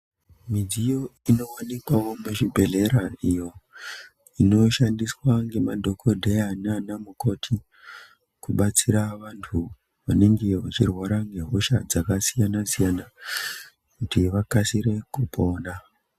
Midziyo inowanika muzvibhehlera iyo inoshandiswa ngemadhokodheya nanamukoti kubatsira vantu vanenge vechirwara ngehosha dzakasiyana siyana kuti vakasire kupona.